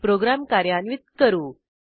program कार्यान्वित करू